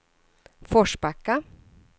Forsbacka